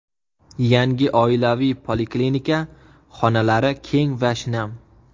Yangi oilaviy poliklinika xonalari keng va shinam.